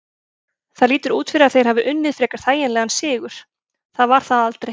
Það lítur út fyrir að þeir hafi unnið frekar þægilegan sigur, það var það aldrei.